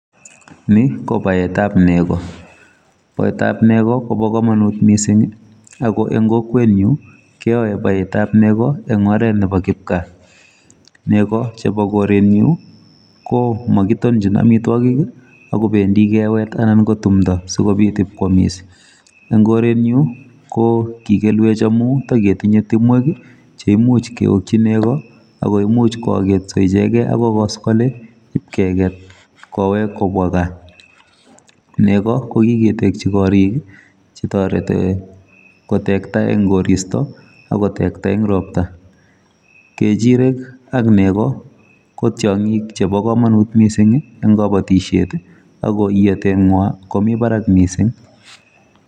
Ni ko baetab nego. Baetab nego, kobo komonut missing, ago eng' kokwet nyu, keae baetab nego eng' oret nebo kipkaa. Nego chebo goret nyu, ko makitonchin amitwogik, ago bendi kewet anan ko timdo asikobit ipkwamis. Eng' goret nyu, ko kikelwech amu taketinye timwek che imuch keokchi nego, akoimuch ko aketso ichekeiy agoi koskoliny ipkeket kowek kobwa gaa. Nego, ko kiketekchi korik, che toreti kotekta eng' koristo, akotekta eng' ropta. Kejirek ak nego, ko tiongik chebo komonut missing eng' kabatishet, ago iyatet ng'waa, komi barak missing.